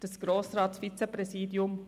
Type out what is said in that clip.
Zum ersten Vizepräsidium: